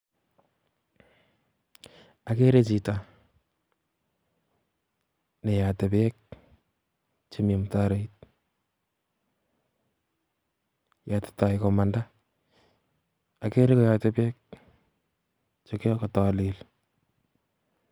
Ageere chito neyote beek chemi mutaroit, yotitoi komanda, ageere koyote beek chekokarek.